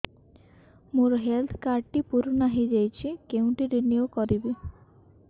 ମୋ health card ଟି ପୁରୁଣା ହେଇଯାଇଛି କେଉଁଠି ରିନିଉ କରିବି